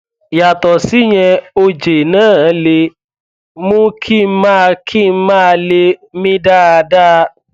yàtọ síyẹn oje náà lè mú kí n má kí n má lè mí dáadáa